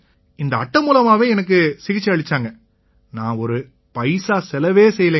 இந்த அட்டை மூலமாவே எனக்கு சிகிச்சை அளிச்சாங்க நான் ஒரு பைசா செலவே செய்யலைங்க